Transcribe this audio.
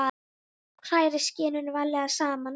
Hrærið skyrinu varlega saman við.